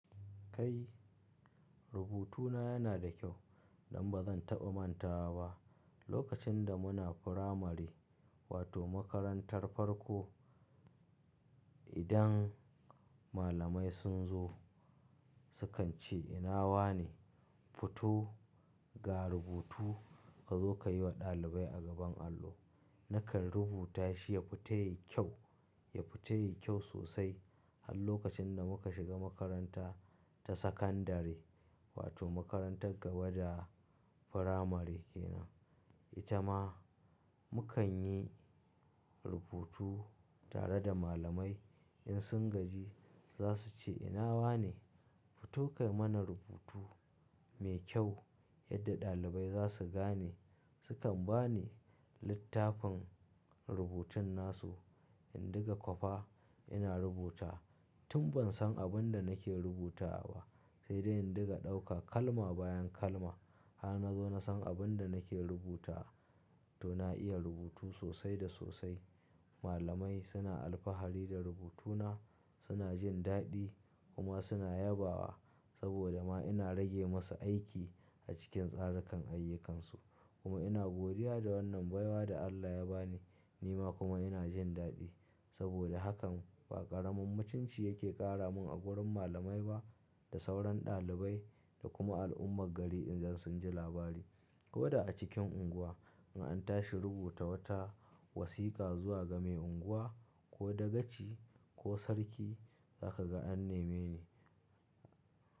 Kai rubutuna yana da kyau don ba zan taɓa mantawa ba. Lokacin da muna firamare wato makarantar farko, idan malamai sun zo su kan ce ina wane fito ga rubutu ka zo ka yi wa ɗalibai a gaban allo. Nakan rubuta shi ya fita yayi kyau, ya fita yayi kyau sosai har lokacin da muka shiga makaranta ta sakandiri wato makarantar gaba da firamare kenan. Ita ma mukan yi rubutu tare da malamai in sun gaji za su ce ina wane fito ka yi mana rubutu mai kyau yadda ɗalibai za su gane. Su kan ba ni littafin rubutun nasu in ɗinga kwafa ina rubutawa tun ban san abin da nake rubutawa ba sai dai in ɗinga ɗaukar kalma bayan kalma. Har na zo na san abin da nake rubutawa to na iya rubutu sosai da sosai. Malamai suna alfahari da rubutuna, suna jin daɗi kuma suna yabawa saboda ma ina rage masu aiki a cikin tsarakan ayyukansu. Kuma ina godiya da wannan baiwa da Allah ya ba ni. Ni ma kuma ina jin daɗi saboda hakan ba ƙaramin mutunci yake ƙara mun a wurin malamai ba da sauran ɗalibai da kuma al'ummar gari idan sun ji labari. Ko da a cikin unguwa in an tashi rubuta wata wasiƙa zuwa ga mai unguwa ko dagaci ko sarki za ka ga an neme ni.